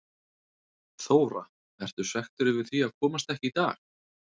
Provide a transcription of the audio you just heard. Þóra: Ertu svekktur yfir því að komast ekki í dag?